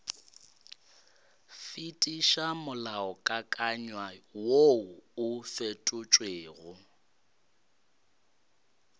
fetiša molaokakanywa woo o fetotšwego